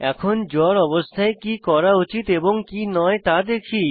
এখন জ্বর অবস্থায় কি করা উচিত এবং কি নয় তা দেখি